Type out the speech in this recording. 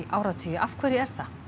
áratugi af hverju